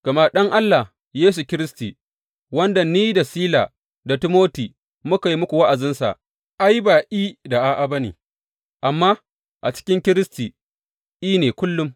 Gama Ɗan Allah, Yesu Kiristi, wanda ni da Sila da Timoti muka yi muku wa’azinsa, ai, ba I da A’a ba ne, amma a cikin Kiristi, I ne kullum.